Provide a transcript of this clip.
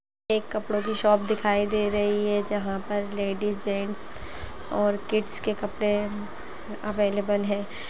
एक कपड़ों की शॉप दिखाई दे रही है जहाँ पर लेडिस जेंट्स और किड्स के कपड़े अवेलेबल( है।